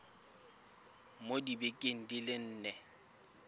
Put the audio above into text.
mo dibekeng di le nne